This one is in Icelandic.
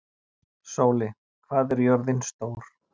Sóli, hvað er jörðin stór?